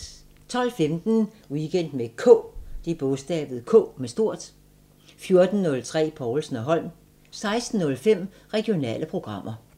12:15: Weekend med K 14:03: Povlsen & Holm 16:05: Regionale programmer